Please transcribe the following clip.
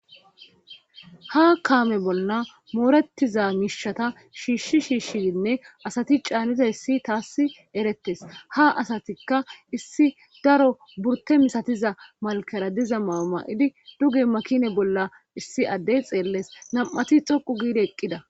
ha kaame bolla moorettiza miishata shiishshi shiishdinne asati caanida issi taassi erettes ha asatikka issi daro burte misatiza malkera diza maama7idi duge makine bolla issi addey xeelles nam7ati xoqu giidi eqqida